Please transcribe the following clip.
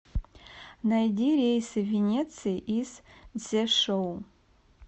найди рейсы в венецию из цзешоу